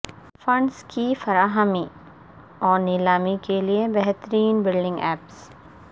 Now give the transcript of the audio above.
funds کی فراہمی اور نیلامی کے لئے بہترین بلڈنگ ایپس